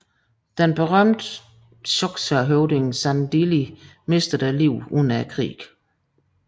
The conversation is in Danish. Den berømte xhosahøvding Sandili mistede livet under krigen